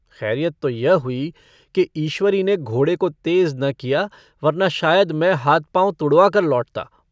खैरियत तो यह हुई कि ईश्वरी ने घोड़े को तेज़ न किया वरना शायद मैं हाथ-पाँव तुड़वाकर लौटता।